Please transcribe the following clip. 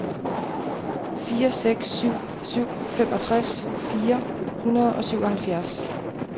fire seks syv syv femogtres fire hundrede og syvoghalvfjerds